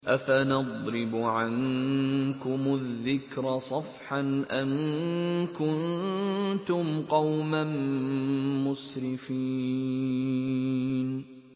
أَفَنَضْرِبُ عَنكُمُ الذِّكْرَ صَفْحًا أَن كُنتُمْ قَوْمًا مُّسْرِفِينَ